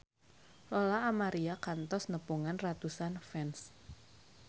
Lola Amaria kantos nepungan ratusan fans